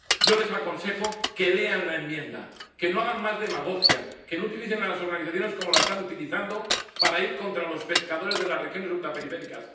Yo les aconsejo que lean la enmienda, que no hagan más demagogia, que no utilicen a las organizaciones como las están utilizando para ir contra los pescadores de las regiones ultraperiféricas.